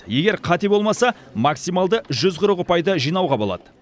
егер қате болмаса максималды жүз қырық ұпайды жинауға болады